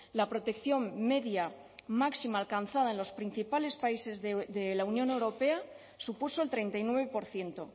la protección media máxima alcanzada en los principales países de la unión europea supuso el treinta y nueve por ciento